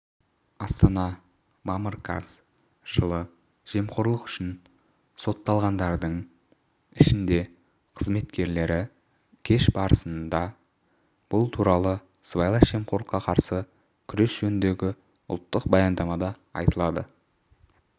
астана мамыр қаз жылы жемқорлық үшін сотталғандардың ішінде қызметкерлері көш басында бұл туралы сыбайлас жемқорлыққа қарсы күрес жөніндегі ұлттық баяндамада айтылады